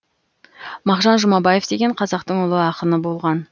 мағжан жұмабаев деген қазақтың ұлы ақыны болған